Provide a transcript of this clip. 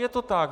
Je to tak.